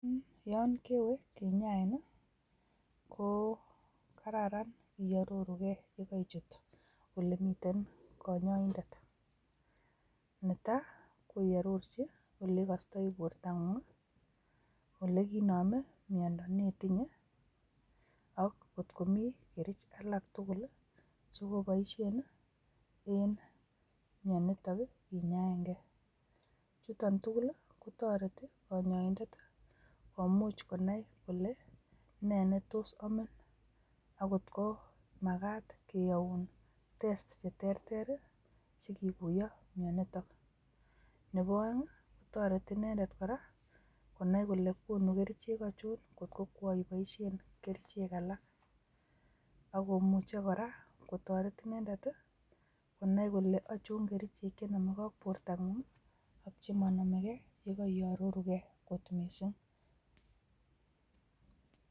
Yon kwee kinyain nii ko kararan iororu gee yon kerichut ole miten konyoindet, netai ko iororji ole ikostoi borto ngung ole kiinome miondo neitinyee ak kotko mii kerich alak tukul lii chekoiboishen en mioniton nii inyaen gee, chuton tukul lii kotoreti konyoindet tii komuch konai kole ne netos omin ak kotko makat keyoun testi sheterter rii sikikuyo mioniton, nebo oengii kotoreti inendet koraa konai kole konu kerichek ochon kotko koran iboishen kerichek alak ak komuche koraa kotoret inendet konai kole ochon kerichek chenome gee ak bortonguu ak chemonomegee yekoiororu gee kot missing.